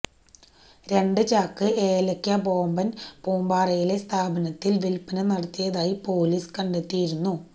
രണ്ട് ചാക്ക് ഏലക്ക ബോബൻ പൂപ്പാറയിലെ സ്ഥാപനത്തിൽ വിൽപ്പന നടത്തിയതായി പൊലീസ് കണ്ടെത്തിയിരുന്നു